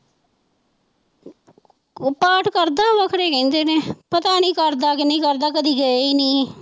ਉਹ ਪਾਠ ਕਰਦਾ ਵਾ ਘਰੇ ਕਹਿੰਦੇ ਨੇ, ਪਤਾ ਨੀ ਕਰਦਾ ਕਿ ਨਹੀਂ ਕਰਦਾ ਕਦੇ ਗਈ ਹੀ ਨੀ